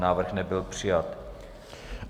Návrh nebyl přijat.